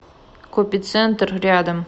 копицентр рядом